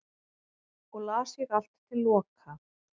og las ég allt til loka